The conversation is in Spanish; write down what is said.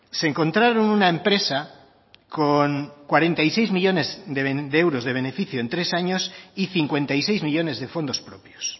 se encontraron una empresa con cuarenta y seis millónes de euros de beneficio en tres años y cincuenta y seis millónes de fondos propios